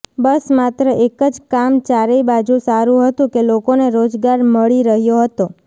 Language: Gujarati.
બસ માત્ર એક જ કામ ચારેય બાજુ સારું હતું કે લોકોને રોજગાર મળી રહ્યો હતો